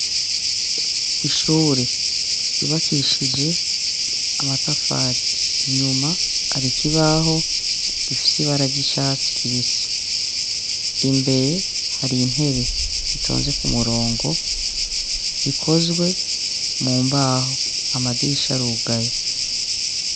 Ishure ryubakishije amatafari, inyuma hari ikibaho gifise ibara ry'icatsi kibisi. Imbere hari intebe zitonze ku murongo, zikozwe mu mbaho. Amadirisha arugaye.